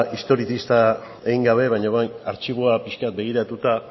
historizista egin gabe baina orain artxiboa pixka bat begiratuta